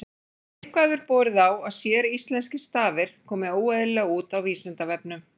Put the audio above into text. Eitthvað hefur borið á að séríslenskir stafir komi óeðlilega út á Vísindavefnum.